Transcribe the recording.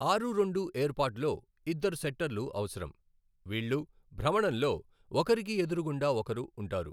ఆరు రెండు ఏర్పాటులో ఇద్దరు సెట్టర్లు అవసరం, వీళ్ళు, భ్రమణంలో, ఒకరికి ఎదురుగుండా ఒకరు ఉంటారు.